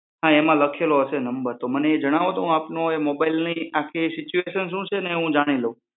હા એમાં લખેલો હશે નંબર તો એ મને જણાવો તો હું આપનો એ મોબાઈલની આખી સીચુયુંએશન શું છે એ જાની લઉં